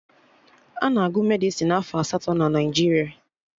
Ana agụ Medịsịn afọ asatọ na Naijiria